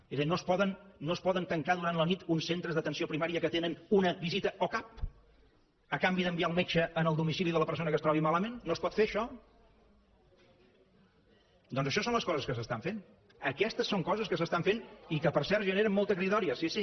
és a dir no es poden tancar durant la nit uns centres d’atenció primària que tenen una visita o cap a canvi d’enviar el metge al domicili de la persona que es trobi malament no es pot fer això doncs això són les coses que s’estan fent aquestes són coses que s’estan fent i que per cert generen molta cridòria sí sí